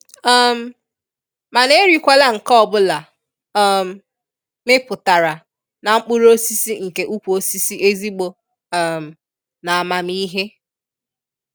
um Mana e rikwala nke ọbụla um mipụtara na mkpụrụ osịsị nke ụkwụ osisi ezigbo um na amamihe.